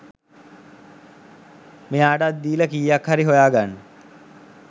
මෙයාටත්දීල කීයක් හරි හොයා ගන්න